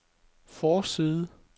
forside